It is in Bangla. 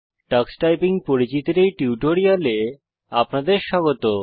টাক্স টাইপিং টক্স টাইপিং এর পরিচিতির এই টিউটোরিয়ালে আপনাদের স্বাগত